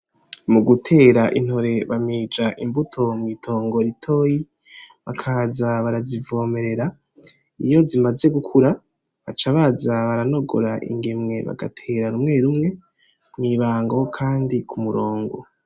Mugutera intore bamija imbuto mw'itongo ritoyi bakaza barazivomera ,iyo zimaze gukura baca baza baranogora ingemwe bagatera rumwe rumwe mw'ibango kandi kumurongo.